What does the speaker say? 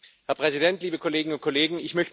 Herr Präsident, liebe Kolleginnen und Kollegen!